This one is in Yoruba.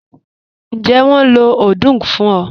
Ǹjẹ́ wọ́n ló odung fún ọ?